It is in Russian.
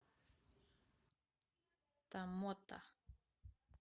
томмота